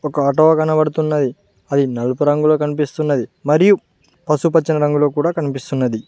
ఒక ఆటో కనపడుతున్నది అది నలుపు రంగులో కనిపిస్తున్నది మరియు పశుపచ్చ రంగులో కూడా కనిపిస్తున్నది.